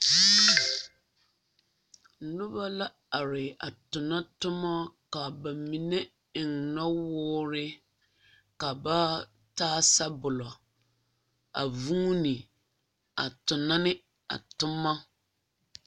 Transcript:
Noba la are a tona toma ka ba mine eŋ nowoore ka ba taa sabolo a vuuni a tona ne a toma.